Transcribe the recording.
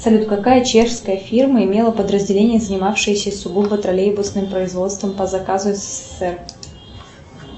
салют какая чешская фирма имела подразделение занимавшееся сугубо троллейбусным производством по заказу ссср